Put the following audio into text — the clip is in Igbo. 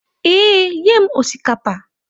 Ee, nye m osikapa.